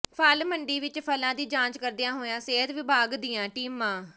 ਫ਼ਲ ਮੰਡੀ ਵਿੱਚ ਫ਼ਲਾਂ ਦੀ ਜਾਂਚ ਕਰਦੀਆਂ ਹੋਈਆਂ ਸਿਹਤ ਵਿਭਾਗ ਦੀਆਂ ਟੀਮਾਂ